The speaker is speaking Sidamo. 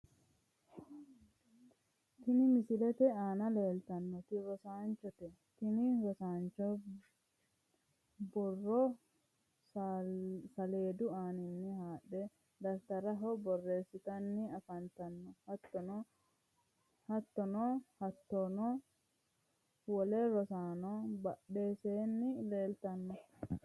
Tini misilete aana leeltannoti rosaanchote, tini rosaancho borro saleedu aaninni haadhe dafitarisera borreessitanni afantanno, hattono hattono wole rosaanono badheseenni leeltanno.